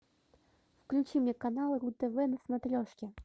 включи мне канал ру тв на смотрешке